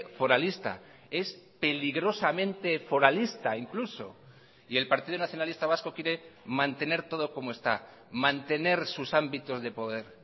foralista es peligrosamente foralista incluso y el partido nacionalista vasco quiere mantener todo como está mantener sus ámbitos de poder